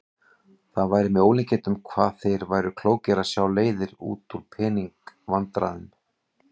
Það væri með ólíkindum hvað þeir væru klókir að sjá leiðir út úr pening- vandræðum.